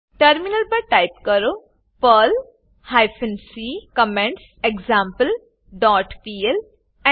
terminal પર type કરો Perl hyphen c comments example dot P L Enter